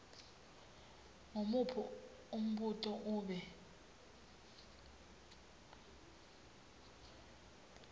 ngumuphi umbuto ube